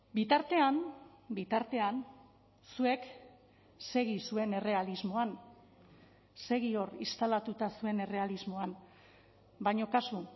bitartean bitartean zuek segi zuen errealismoan segi hor instalatuta zuen errealismoan baina kasu